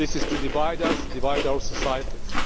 This is to divide us and divide our societies.